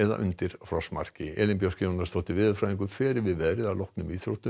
undir frostmarki Elín Björk Jónasdóttir veðurfræðingur fer yfir veðrið að loknum íþróttum